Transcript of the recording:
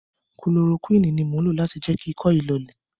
Kulorokúìnì ni mò ń lo láti jẹ́ kí ikọ́ yìí lọọlẹ̀.